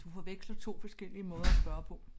Du forveksler 2 forskellige måder at spørge på